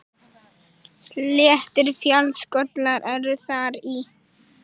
Sléttir fjallskollar eru þar í